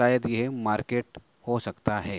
शायद ये मार्केट हो सकता है।